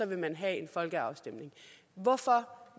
vil man have en folkeafstemning hvorfor